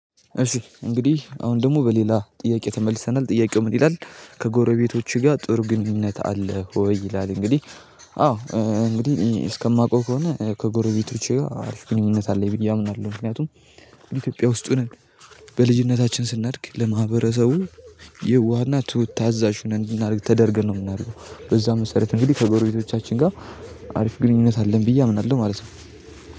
እሺ እንግዲህ አሁን ደግሞ በሌላ ጥያቄ ተመልሰናል ጥያቄው ምን ይላል ከጎረቤቶችህ ጋር ጥሩ ግንኙነት አለህ ወይ ይላል? እንግዲህ አዎ እንግዲህ እስከማውቀው ከሆነ ከጎረቤቶቼ አሪፍ ግንኙነት አለኝ ብዬ አምናለሁ። ምክንያቱም ኢትዮጵያ ውስጥ ሆነን በልጅነታችን ስናድግ ለማህበረሰቡ የዋህና ትሁት ታዛዥ ሁነን እንድናድግ ተደርገን ነው የምናድገው። በዛም መሰረት እንግዲህ ከጎረቤቶቻችን ጋር አሪፍ ግንኙነት አለን ብዬ አምናለሁ ማለት ነው።